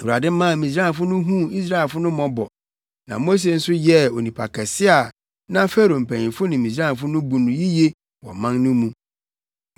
Awurade maa Misraimfo no huu Israelfo no mmɔbɔ, na Mose nso yɛɛ onipa kɛse a na Farao mpanyimfo ne Misraimfo no bu no yiye wɔ ɔman no mu.